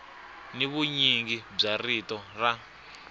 ni vunyingi bya rito ra